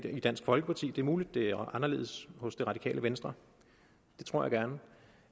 i dansk folkeparti det er muligt det er anderledes hos det radikale venstre det tror jeg gerne